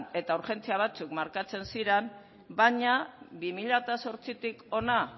eta urgentzia batzuk markatzen ziran baina bi mila zortzitik hona